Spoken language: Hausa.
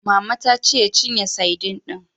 Mama ta ce ya cinye sadin din.